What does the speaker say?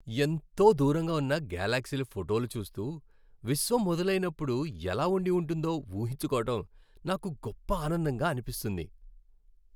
ఎంతో దూరంగా ఉన్న గెలాక్సీల ఫోటోలు చూస్తూ, విశ్వం మొదలైనప్పుడు ఎలా ఉండి ఉంటుందో ఊహించుకోవడం నాకు గొప్ప ఆనందంగా అనిపిస్తుంది.